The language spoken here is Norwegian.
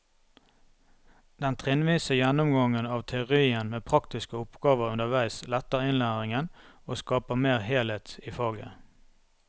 Den trinnvise gjennomgangen av teorien med praktiske oppgaver underveis letter innlæringen og skaper mer helhet i faget.